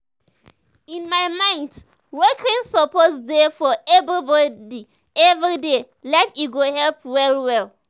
in my mind walking suppose dey for everybody everyday life e go help well well.